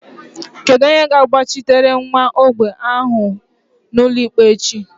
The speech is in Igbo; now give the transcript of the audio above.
Kedu onye ga-agbachitere nwa ogbenye ahụ n'ụlọikpe echi?